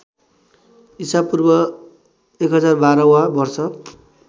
ईपू १०१२ वा वर्ष